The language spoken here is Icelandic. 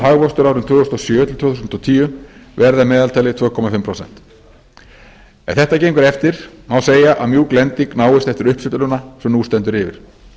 hagvöxtur árin tvö þúsund og sjö til tvö þúsund og tíu verði að meðaltali tvö og hálft prósent ef þetta gengur eftir má segja að mjúk lending náist eftir uppsveifluna sem nú stendur yfir